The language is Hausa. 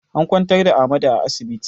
An kwantar da Ahmadu a asibiti